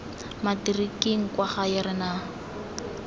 matikiring kwa gae re na